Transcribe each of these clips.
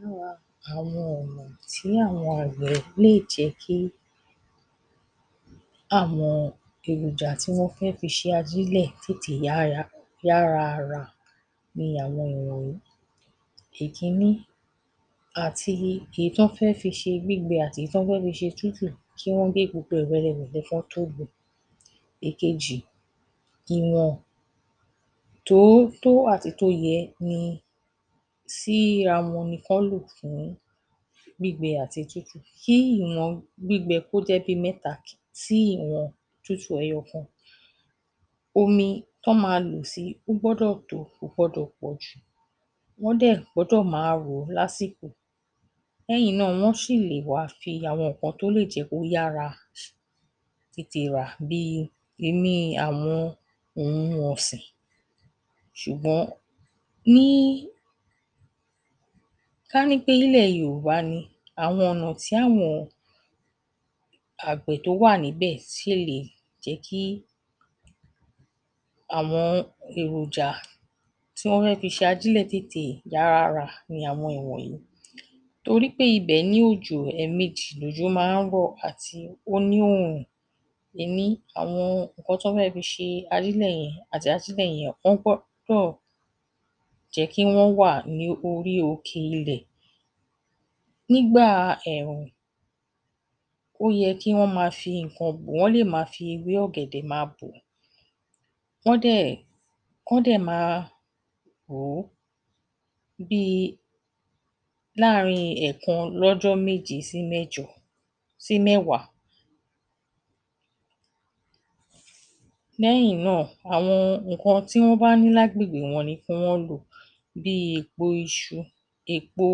Lára àwọn ọ̀nà tí àwọn àgbẹ̀ lè jẹ́ kí àwọn èhòjà tí wọ́n fẹ́ fi ṣe ajílẹ̀ tètè yáya, yára rà ni àwọn ìwọ̀nyìí. Èkínní, àti èyí tán fẹ́ fi ṣe gbígbẹ àti èyí tán fẹ́ fi ṣe tútù, kí wọ́n gé gbogbo ẹ̀ wẹ́rewẹ̀lẹ kán tó. Èkejì, ìwọ̀n tó tó àtèyí tó yẹ ni síra wọn ni kán lò fún gbígbẹ àti tútù. Kí ìwọ̀n gbígbẹ kó jẹ́ bíi mẹ́ta tí ìwọ̀n tútù ẹyọ kan. Omi tán máa lò si ó gbọ́dọ̀ tó, kò gbọdọ̀ pọ̀ jù. Wọ́n dẹ̀ gbọ́dọ̀ máa rò ó lásìkò. Lẹ́yìn náà, wọ́n ṣì lè wá fi àwọn nǹkan tó lè jẹ́ kó yára tètè rà bíi imí àwọn òhun ọ̀sìn, ṣùgbọ́n ní, kání pé nílẹ̀ Yòhùbá ni, àwọn ọ̀nà tí àwọn àgbẹ̀ tó wà níbẹ̀ ṣe lè jẹ́ kí àwọn èròjà tí wọ́n fẹ́ fi ṣajílẹ̀ tètè yára rà ni àwọn ìwọ̀nyìí. Torí pé ibẹ̀ ní òjò, ẹ̀ẹ̀mejì lòjò máa ń họ̀, àti ó ní òòhùn. Àwọn nǹkan tán fẹ́ fi ṣe ajílẹ̀ yẹn àti ajílẹ̀ yẹn, wọ́n gbọ́dọ̀ jẹ́ kí wọ́n wà ní orí òkè ilẹ̀. Nígbà ẹ̀ẹ̀hùn, ó yẹ kí wọ́n máa fi nǹkan, wọ́n lè ma fi ewé ọ̀gẹ̀dẹ̀ ma bò ó kán dẹ̀, kán dẹ̀ ma hò ó bíi láàrin ẹ̀ẹ̀kan lọ́jọ́ méje sí mẹ́jọ sí mẹ́wàá. Lẹ́yìn náà, àwọn nǹkan tí wọ́n bá ní lágbègbè wọn ni kí wọ́n lò. Bíi èèpo iṣu, èèpo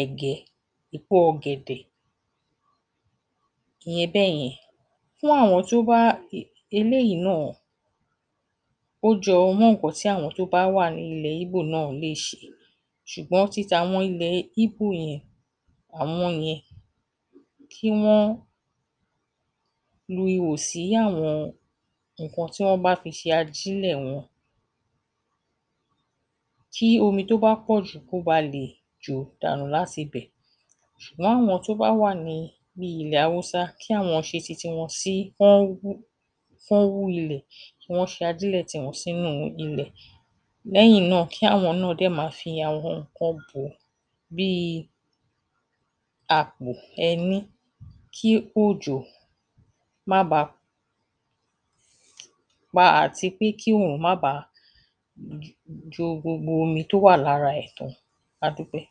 ẹ̀gẹ́, èèpo ọ̀gẹ̀dẹ̀. Ìyẹn bẹ́yẹn. Fún àwọn tó bá, eléyìí náà ó jọ mọ́ ǹǹkan tí àwọn tó bá wà ní ilẹ̀ Íbò náà lè ṣe ṣùgbọ́n ti tàwọn ilẹ̀ Íbò yẹn, àwọn yẹn, kí wọ́n lu ihò sí àwọn ǹǹkan tí wọ́n bá fi ṣe ajílẹ̀ wọn, kí omi tó bá pọ̀ jù kó ba lè jò dànù látibẹ̀. Ṣùgbọ́n àwọn tó bá wà ní bíi ilẹ̀ Hausa, kí àwọn ṣe ti tiwọn sí, kán wú, kán wú ilẹ̀ kí wọ́n ṣe ajílẹ̀ tiwọn sínú ilẹ̀. Lẹ́yìn náà, kí àwọn náà dẹ̀ ma fi àwọn ǹǹkan bò ó bíi àpò, ẹni kí òjò má ba pa àti pé kí òòrùn bàá jo gbogbo omi tó wà lára ẹ̀ tán. A dúpẹ́.